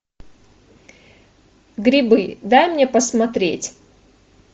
грибы дай мне посмотреть